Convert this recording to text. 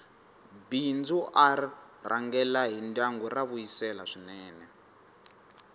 bindzu r rhangela hi ndyangu ra vuyisela swinene